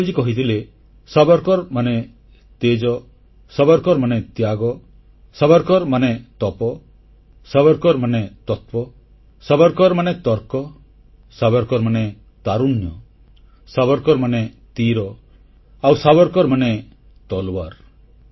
ଅଟଳଜୀ କହିଥିଲେ ସାବରକର ମାନେ ତେଜ ସାବରକର ମାନେ ତ୍ୟାଗ ସାବରକର ମାନେ ତପ ସାବରକର ମାନେ ତତ୍ୱ ସାବରକର ମାନେ ତର୍କ ସାବରକର ମାନେ ତାରୁଣ୍ୟ ସାବରକର ମାନେ ତୀର ଆଉ ସାବରକର ମାନେ ତଲୱାର